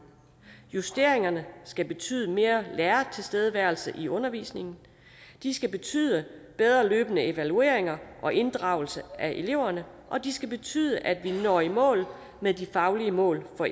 justeringerne skal betyde mere lærertilstedeværelse i undervisningen de skal betyde bedre løbende evalueringer og inddragelse af eleverne og de skal betyde at vi når i mål med de faglige mål for